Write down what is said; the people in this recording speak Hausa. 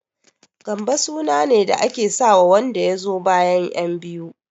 Gambo sunane da ake sawa wanda yazo bayan ƴan biyu.